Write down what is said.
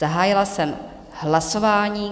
Zahájila jsem hlasování.